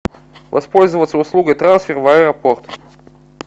воспользоваться услугой трансфер в аэропорт